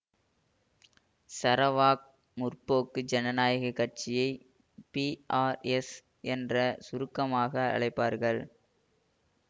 Sarawak முற்போக்கு ஜனநாயக கட்சியை பிஆர்எஸ் என்ற சுருக்கமாக அழைப்பார்கள்